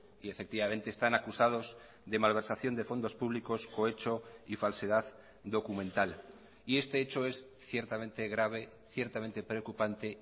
y efectivamente están acusados de malversación de fondos públicos cohecho y falsedad documental y este hecho es ciertamente grave ciertamente preocupante